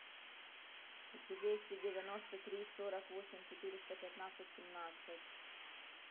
двести девяносто три сорок восемь четыреста пятнадцать семнадцать